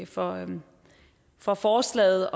for for forslaget